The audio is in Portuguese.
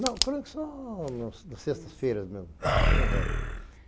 Não, crônicas só nas sextas-feiras mesmo.